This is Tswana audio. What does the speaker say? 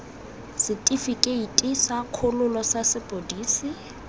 setifikeite sa kgololo sa sepodisi